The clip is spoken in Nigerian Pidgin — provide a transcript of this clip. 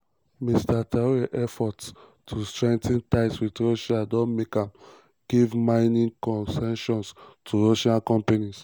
mr traoré efforts to strengthen ties wit russia don make am give mining concessions to russian companies.